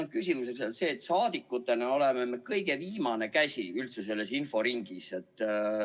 Minu küsimus on selle kohta, et saadikutena oleme me kõige viimane käsi üldse selles inforingis.